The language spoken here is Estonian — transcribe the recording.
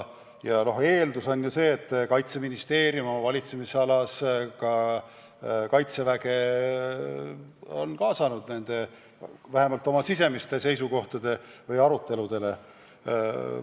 Ja eeldus on see, et Kaitseministeerium on oma valitsemisalas Kaitseväge kaasanud vähemalt oma sisemiste seisukohtade aruteludele.